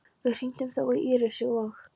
Við hringdum þó í Írisi og